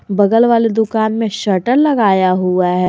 बगल वाली दुकान में शटर लगाया हुआ है।